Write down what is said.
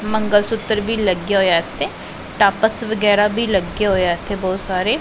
ਮੰਗਲ ਸੁਤਰ ਵੀ ਲੱਗਿਆ ਹੋਇਆ ਤੇ ਟਾਪਸ ਵਗੈਰਾ ਵੀ ਲੱਗੇ ਹੋਏ ਆ ਇਥੇ ਬਹੁਤ ਸਾਰੇ।